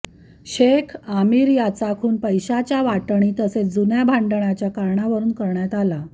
शेख आमिर याचा खुन पैशाच्या वाटणी तसेच जुन्या भांडणाच्या कारणावरून करण्यात आला